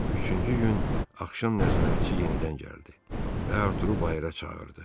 Üçüncü gün axşam nəzarətçi yenidən gəldi və Arturu bayıra çağırdı.